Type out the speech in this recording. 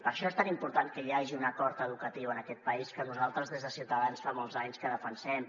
per això és tan important que hi hagi un acord educatiu en aquest país que nosaltres des de ciutadans fa molts anys que defensem